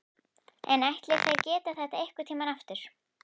En ætli þær geri þetta einhvern tímann aftur?